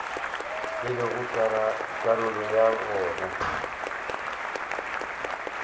e lego karolo ya wona